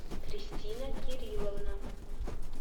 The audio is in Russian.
кристина кирилловна